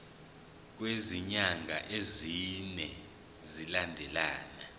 kwezinyanga ezine zilandelana